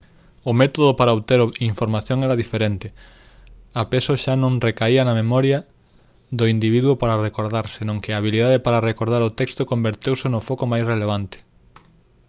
o método para obter información era diferente a peso xa non recaía na memoria do individuo para recordar senón que a habilidade para recordar o texto converteuse no foco máis relevante